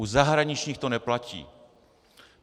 U zahraničních to neplatí.